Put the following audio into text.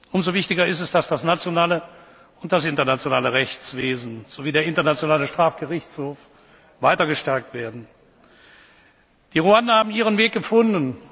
entkommen. Umso wichtiger ist es, dass das nationale und das internationale Rechtswesen sowie der Internationale Strafgerichtshof weiter gestärkt werden. Die Ruander haben ihren